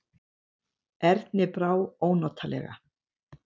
Erni brá ónotalega.